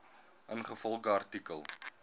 ingevolge artikel